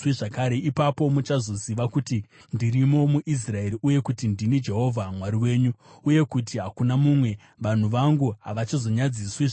Ipapo muchazoziva kuti ndirimo muIsraeri, uye kuti ndini Jehovha Mwari wenyu, uyewo kuti hakuna mumwe; vanhu vangu havachazonyadziswi zvakare.